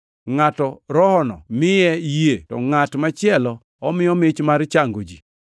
Ngʼato Rohono miyo yie, to ngʼat machielo omiyo mich mar chango ji;